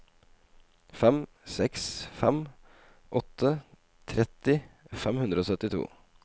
fire seks fem åtte tretti fem hundre og syttito